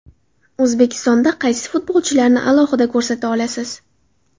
O‘zbekistonda qaysi futbolchilarni alohida ko‘rsata olasiz?